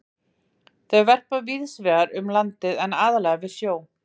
Þau verpa víðs vegar um landið en aðallega við sjó.